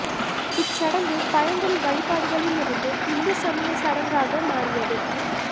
இச் சடங்கு பழங்குடி வழிபாடுகளிருந்து இந்து சமய சடங்காக மாறியது